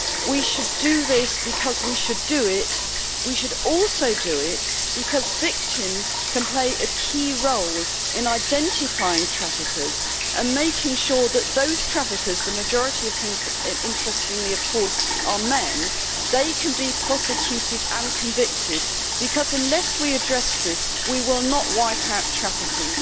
We should do this because we should do it, but we should also do it because victims can play a key role in identifying traffickers and making sure that those traffickers the majority of whom, interestingly, are men can be prosecuted and convicted, because unless we address this, we will not wipe out trafficking.